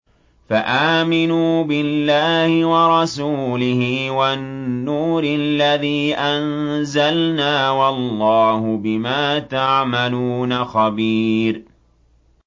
فَآمِنُوا بِاللَّهِ وَرَسُولِهِ وَالنُّورِ الَّذِي أَنزَلْنَا ۚ وَاللَّهُ بِمَا تَعْمَلُونَ خَبِيرٌ